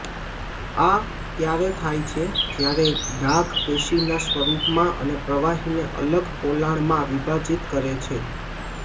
આ ત્યારે થાય છે જ્યારે ડાઘ પેશીના સ્વરૂપમાં અને પ્રવાહીને અલગ પોલાણમાં વિભાજીત કરે છે